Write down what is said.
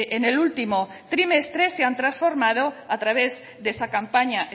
en el último trimestre se han transformado a través de esa campaña